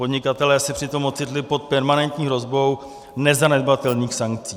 Podnikatelé se přitom ocitli pod permanentní hrozbou nezanedbatelných sankcí.